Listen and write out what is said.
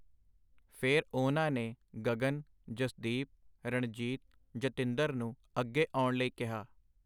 ਫਿਰ ਉਹਨਾਂ ਨੇ ਗਗਨ, ਜਸਦੀਪ, ਰਣਜੀਤ, ਜਤਿੰਦਰ ਨੂੰ ਅੱਗੇ ਆਉਣ ਲਈ ਕਿਹਾ.